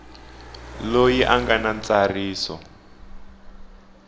loyi a nga na ntsariso